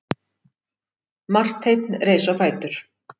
Marteinn reis á fætur.